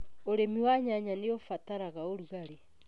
ũrĩmi wa nyanya nĩ ubataraga ũrugarĩ.